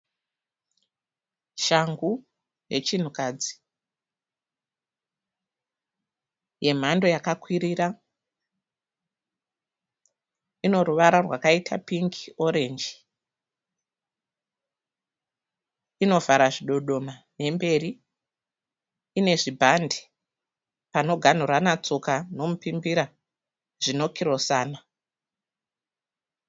Shangu yechinhukadzi yemhando yakakwirira. Inoruvara rwakaita pingi orenji. Inovara zvidodoma nemberi. Ine zvibhandi panoganhurana tsoka nomupimbira zvinokirosana.